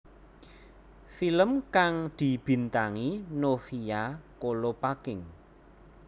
Film kang dibintangi Novia Kolopaking